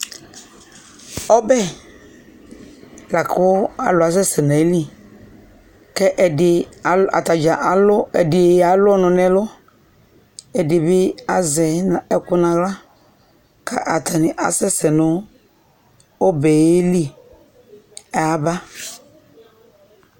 Ɔbɛ bʋa kʋ alʋ asɛsɛ n'ayili kɛ ɛdɩ , atadzaa alʋ, ɛdɩ alʋ ɔnʋ n'ɛlʋ, ɛdɩ bɩ azɛ ɛkʋ n'aɣla ka atani asɛsɛ nʋ ɔbɛ yɛ li kayaba